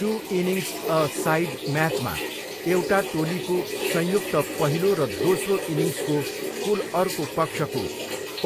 to innings a side म्याचमा, एउटा टोलीको संयुक्त पहिलो र दोस्रो इनिङ्सको कुल अर्को पक्षको